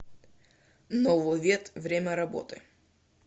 нововет время работы